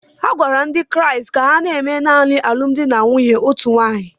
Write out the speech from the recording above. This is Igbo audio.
A gwara ndị Kraịst ka ha na-eme naanị alụmdi na nwunye otu nwaanyị